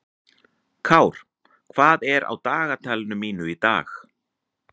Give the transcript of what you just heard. Kár, hvað er á dagatalinu mínu í dag?